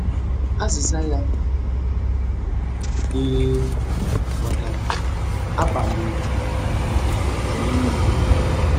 Azịza ya bụ ee — maka abamuru nke anyị niile.